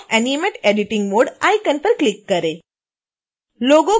turn off animate editing mode icon पर click करें